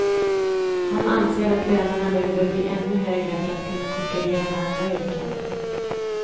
Han anser att lönerna behöver bli ännu högre för att kunna konkurrera med andra yrken.